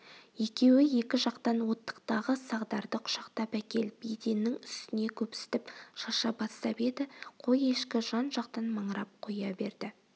екеуі екі жақтан оттықтағы сағдарды құшақтап әкеліп еденнің үстіне көпсітіп шаша бастап еді қой-ешкі жан-жақтан маңырап қоя берді